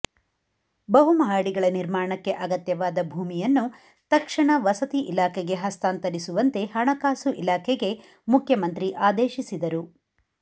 ಬಹುಮಹಡಿಗಳ ನಿರ್ಮಾಣಕ್ಕೆ ಅಗತ್ಯವಾದ ಭೂಮಿಯನ್ನು ತಕ್ಷಣ ವಸತಿ ಇಲಾಖೆಗೆ ಹಸ್ತಾಂತರಿಸುವಂತೆ ಹಣಕಾಸು ಇಲಾಖೆಗೆ ಮುಖ್ಯಮಂತ್ರಿ ಆದೇಶಿಸಿದರು